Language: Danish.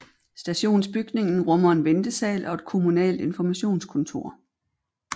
Stationsbygningen rummer en ventesal og et kommunalt informationskontor